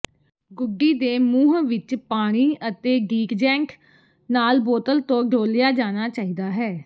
ਗੁੱਡੀ ਦੇ ਮੂੰਹ ਵਿੱਚ ਪਾਣੀ ਅਤੇ ਡੀਟਜੈਂਟ ਨਾਲ ਬੋਤਲ ਤੋਂ ਡੋਲ੍ਹਿਆ ਜਾਣਾ ਚਾਹੀਦਾ ਹੈ